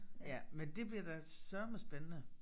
Ja men det bliver da sørme spændende